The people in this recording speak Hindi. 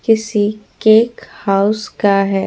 किसी केक हाउस का है।